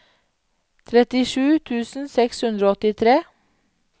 trettisju tusen seks hundre og åttitre